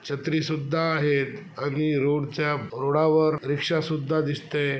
छत्री सुद्धा आहे आणि रोड च्या रोडावर रिक्शा सुद्धा दिसते.